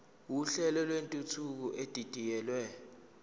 uhlelo lwentuthuko edidiyelwe